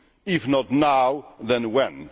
if not now, then when?